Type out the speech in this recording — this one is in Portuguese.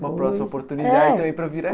uma próxima oportunidade também para vir